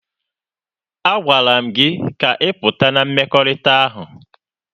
A gwara m gị ka ị pụta na mmekọrịta ahụ!